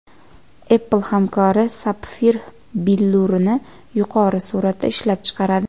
Apple hamkori sapfir billurini yuqori suratda ishlab chiqaradi.